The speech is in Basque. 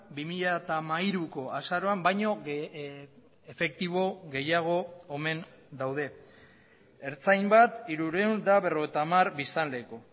bi mila hamairuko azaroan baino efektibo gehiago omen daude ertzain bat hirurehun eta berrogeita hamar biztanleko